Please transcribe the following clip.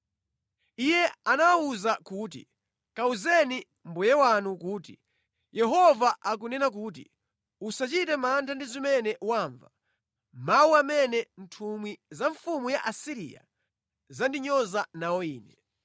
Yesaya anawawuza kuti, “Kawuzeni mbuye wanu kuti, ‘Yehova akunena kuti: Usachite mantha ndi zimene wamva, mawu amene nthumwi za mfumu ya ku Asiriya zandinyoza nawo Ine.